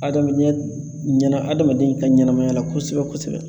Adamadenya ɲɛnɛ adamaden ka ɲɛnɛmaya la kosɛbɛ kosɛbɛ